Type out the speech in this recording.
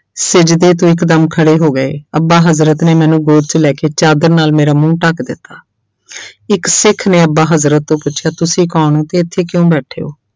ਸਿਜਦੇ ਤੋਂ ਇੱਕਦਮ ਖੜੇ ਹੋ ਗਏ ਅੱਬਾ ਹਜ਼ਰਤ ਨੇ ਮੈਨੂੰ ਗੋਦ 'ਚ ਲੈ ਕੇ ਚਾਦਰ ਨਾਲ ਮੇਰਾ ਮੂੰਹ ਢੱਕ ਦਿੱਤਾ ਇੱਕ ਸਿੱਖ ਨੇ ਅੱਬਾ ਹਜ਼ਰਤ ਤੋਂ ਪੁੱਛਿਆ ਤੁਸੀਂ ਕੌਣ ਹੋ ਤੇ ਇੱਥੇ ਕਿਉਂ ਬੈਠੇ ਹੋ।